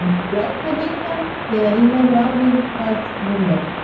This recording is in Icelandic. Ég læt þig vita, þegar ég hef ráðið það við mig